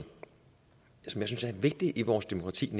vigtigt i vores demokrati